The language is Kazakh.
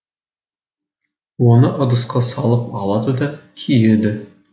оны ыдысқа салып алады да түйеді